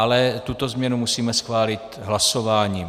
Ale tuto změnu musíme schválit hlasováním.